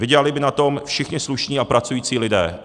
Vydělali by na tom všichni slušní a pracující lidé.